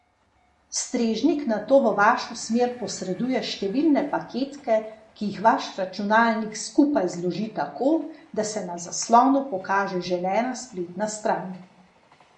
Strežnik nato v vašo smer posreduje številne paketke, ki jih vaš računalnik skupaj zloži tako, da se na zaslonu pokaže želena spletna stran.